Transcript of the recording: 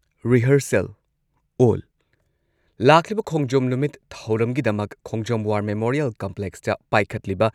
rehearsal ꯑꯣꯜ ꯂꯥꯛꯂꯤꯕ ꯈꯣꯡꯖꯣꯝ ꯅꯨꯃꯤꯠ ꯊꯧꯔꯝꯒꯤꯗꯃꯛ ꯈꯣꯡꯖꯣꯝ ꯋꯥꯔ ꯃꯦꯃꯣꯔꯤꯌꯦꯜ ꯀꯝꯄ꯭ꯂꯦꯛꯁꯇ ꯄꯥꯏꯈꯠꯂꯤꯕ